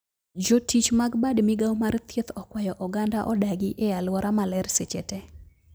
Jotich mag bad migao mar thieth okwayo oganda odagi e aluora maler seche tee